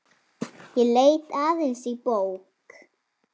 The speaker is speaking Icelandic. Ég leit aðeins í bók.